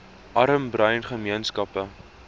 arm bruin gemeenskappe